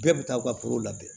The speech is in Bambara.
Bɛɛ bɛ taa aw ka forow lajɛ